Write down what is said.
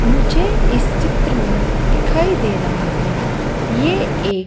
मुझे इस चित्र में दिखाई दे रहा है ये एक--